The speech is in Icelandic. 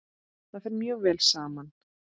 Það fer mjög vel saman.